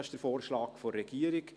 Das ist der Vorschlag der Regierung.